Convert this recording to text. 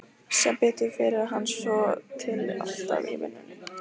Sem betur fer er hann svotil alltaf í vinnunni.